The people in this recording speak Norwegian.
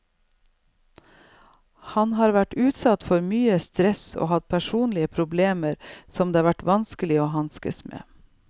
Han har vært utsatt for mye stress og hatt personlige problemer som det har vært vanskelig å hanskes med.